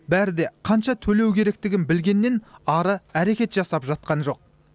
бәрі де қанша төлеу керектігін білгеннен ары әрекет жасап жатқан жоқ